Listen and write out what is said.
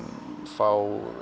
fá